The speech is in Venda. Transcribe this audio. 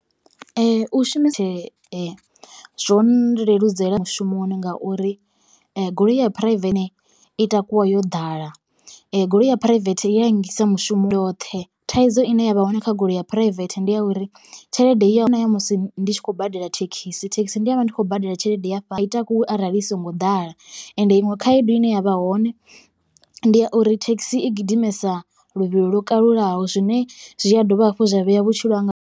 U shumisa zwo leludzela mushumoni ngauri goloi ya phuraivethe i takuwa yo ḓala goloi ya phuraivethe i ya nngisa mushumo ndi ndoṱhe thaidzo ine yavha hone kha goloi ya phuraivethe ndi ya uri tshelede i ne ya musi ndi tshi khou badela thekhisi thekhisi ndi vha ndi khou badela tshelede ya fhasi. Ai takuwi arali i songo ḓala ende iṅwe khaedu ine yavha hone ndi ya uri thekhisi i gidimesa luvhilo lwo kalulaho zwine zwi a dovha hafhu zwa vhea vhutshilo hanga.